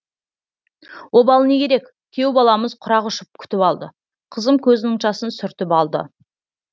обалы не керек күйеу баламыз құрақ ұшып күтіп алды қызым көзінің жасын сүртіп алды